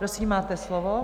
Prosím, máte slovo.